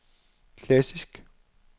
klassisk